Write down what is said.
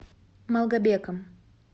малгобеком